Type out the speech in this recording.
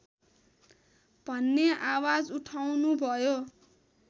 भन्ने आवाज उठाउनुभयो